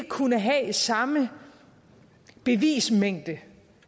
kunne have samme bevismængde